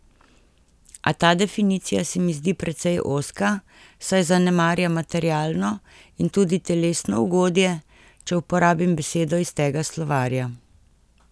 A ta definicija se mi zdi precej ozka, saj zanemarja materialno in tudi telesno ugodje, če uporabim besedo iz tega slovarja.